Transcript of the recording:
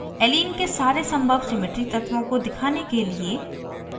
allene के सारे संभव symmetry तत्वों को दिखाने के लिए